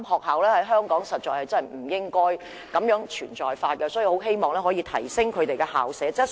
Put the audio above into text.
香港實在不應該再有"火柴盒"學校，所以我很希望可以提升校舍質素。